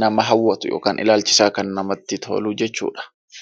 nama hawwatu yookaan ilaalchisaa namatti tolu jechuudha.